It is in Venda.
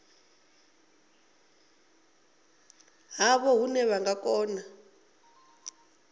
havho hune vha nga kona